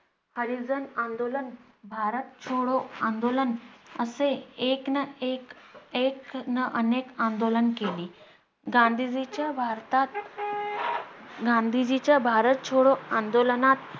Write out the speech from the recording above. हरिजन आंदोलन, भारत छोडो आंदोलन असे एक ना एक एक ना अनेक आंदोलन केले. गांधीजीच्या भारतात गांधीजींच्या भारत छोडो आंदोलनात